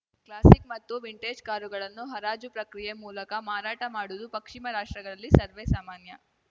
classic ಮತ್ತು vintage ಕಾರುಗಳನ್ನು ಹರಾಜು ಪ್ರಕ್ರಿಯೆ ಮೂಲಕ ಮಾರಾಟ ಮಾಡುವುದು ಪಕ್ಷಿಮ ರಾಷ್ಟ್ರಗಳಲ್ಲಿ ಸರ್ವೇ ಸಾಮಾನ್ಯ